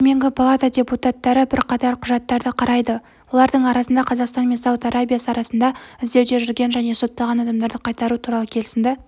төменгі палата депутаттары бірқатар құжатты қарайды олардың арасында қазақстан мен сауд арабиясы арасында іздеуде жүрген және сотталған адамдарды қайтару туралы келісімді